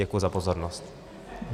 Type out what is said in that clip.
Děkuji za pozornost.